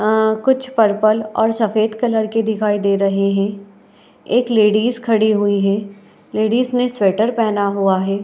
अ कुछ पर्पल और सफ़ेद कलर के दिखाई दे रहे हैं। एक लेडीज खड़ी हुई है। लेडीज ने स्वेटर पेहना हुआ है।